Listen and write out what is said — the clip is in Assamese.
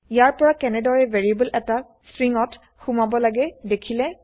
ইয়াৰ পৰা কেনেদৰে ভেৰিয়েবল এটা স্ট্ৰিংগত সোমাব লাগে দেখিলে